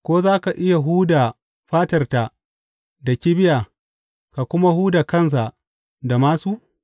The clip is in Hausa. Ko za ka iya huda fatarta da kibiya ka kuma huda kansa da māsu?